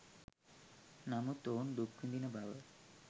නමුත් ඔවුන් දුක් විඳින බව